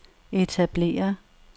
etablere